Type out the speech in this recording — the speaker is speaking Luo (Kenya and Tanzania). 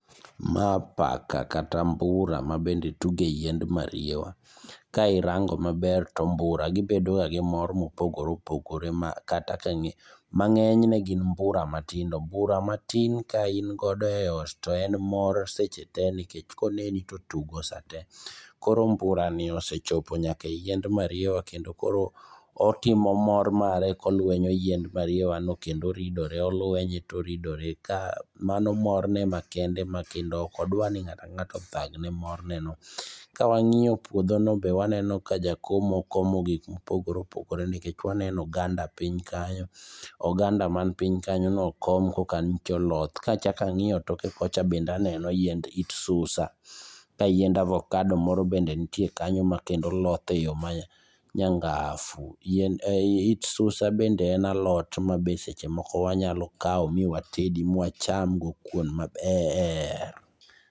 Ma paka kata mbura mabende tuge yiend mariwa. Ka irango maber to mbura gibedo ga gimor mopogore opogore makata. Mang'enyne gin mbura matindo, mbura matin ka ingodo e ot to en mor sechete, nikech koneni to tugo sate. Koro mburani osechopo nyaka e yiend mariwa, kendo koro otimo mor mare kolwenyo yiend mariwano, kendo oridore olwenye toridore. Mano morne makende makendo okodwarni ng'ato ang'ata odhagne morne no. Kawang'iyo puodhono be waneno ka jakomo okomo gik mopogore opogore, nikech waneno oganda piny kanyo. Oganda man piny kanyono, okom okan to oloth. Kachak ang'iyo toke kocha bende aneno yiend it susa. Ka yiend avocado moro bende nitie kanyo makendo loth e yor ma nyangafu. It susa bende en alot mabe sechemoko wanyalokao miwatedi miwachamgo kuon maber.